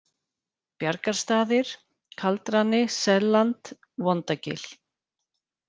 Bjargarstaðir, Kaldrani, Selland, Vondagil